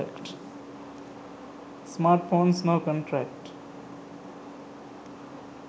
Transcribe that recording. smartphones no contract